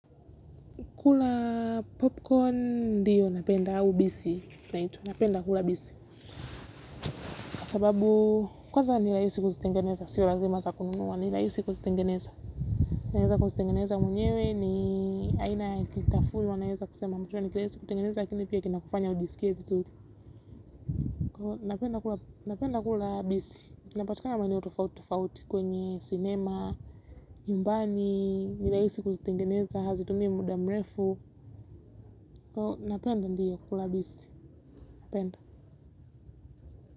Kula popcorn ndiyo napenda au bisi. Napenda kula bisi. Kwa sababu kwanza ni rahisi kuzitengeneza. Sio lazima za kununua ni rahisi kuzitengeneza. Naweza kuzitengeneza mwenyewe ni aina ya kitafuzi wanaweza kusema mwisho ni kiweze kutengeneza lakini pia kina kufanya ujisikie vizuri. Napenda kula bisi inapatikana maeneo tofauti tofauti kwenye cinema nyumbani nirahisi kuzitengeneza. Hazitumii muda mrefu. Napenda ndiyo kukula bisi napenda.